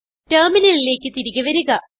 ടെർമിനലിലേക്ക് തിരികെ വരുക